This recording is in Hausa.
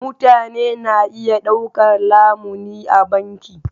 Mutane na iya ɗaukar lamuni a banki.